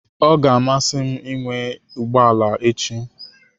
Ọ ga-amasị m ịnwe ụgbọ ala echi.